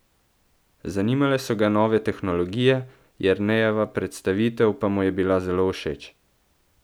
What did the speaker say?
Zanimale so ga nove tehnologije, Jernejeva predstavitev pa mu je bila zelo všeč.